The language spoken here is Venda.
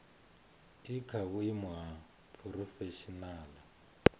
i kha vhuimo ha phurofeshinala